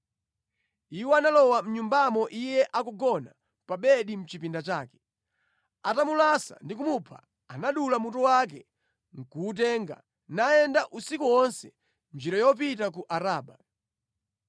Iwo analowa mʼnyumbamo iye akugona pa bedi mʼchipinda chake. Atamulasa ndi kumupha, anadula mutu wake nʼkuwutenga, nayenda usiku wonse mʼnjira yopita ku Araba.